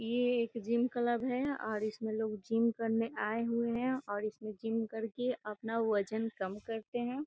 ये एक gym club है और इसमें लोग जिम करने आए हुए हैं और इसमें जिम करके अपना वजन कम करते हैं।